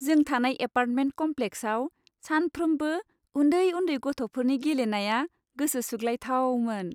जों थानाय एपार्टमेन्ट कम्प्लेक्साव सानफ्रोमबो उन्दै उन्दै गथ'फोरनि गेलेनाया गोसो सुग्लायथावमोन।